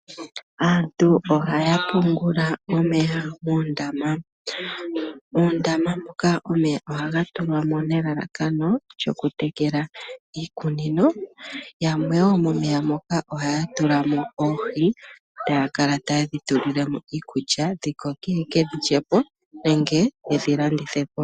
Aantu ohaya pungula omeya moondama. Oondama moka omeya ohaga tulwamo nelalakano lyokutekela iikunino. Yamwe wo momeya moka ohaya tulamo oohi taya kala tayedhi tulilemo iikulya dhikoke yeke dhilyepo nenge yedhilandithepo.